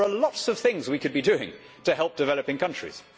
There are lots of things we could be doing to help developing countries.